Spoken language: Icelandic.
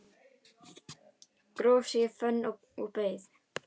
Gróf sig í fönn og beið